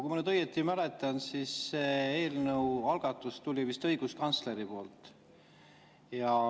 Kui ma nüüd õigesti mäletan, siis see algatus tuli vist õiguskantsleri poolt.